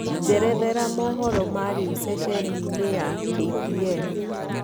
njerethera mohoro ma rĩũ sesheni ini ya K.T.N